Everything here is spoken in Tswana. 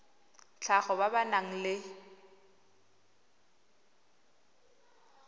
tlhago ba ba nang le